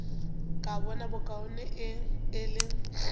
ka bona bokaone e le